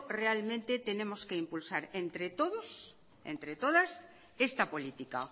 realmente tenemos que impulsar entre todos y entre todas esta política